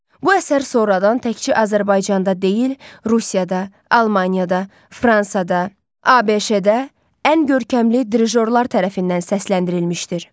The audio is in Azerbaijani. Bu əsər sonradan təkcə Azərbaycanda deyil, Rusiyada, Almaniyada, Fransada, ABŞ-da ən görkəmli dirijorlar tərəfindən səsləndirilmişdir.